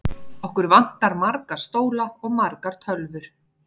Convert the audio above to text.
Okkur vantar marga stóla og margar tölvur.